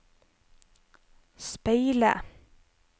speile